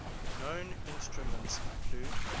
known instruments include